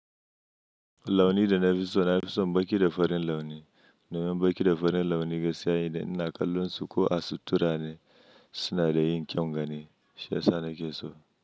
Launi da na fi so na fi son baƙi da farin launi. Domin baƙi da farin launi gaskiya, idan ina kallon su ko a sutura ne suna da yin kyaun gani. Shiya sa ni ke so.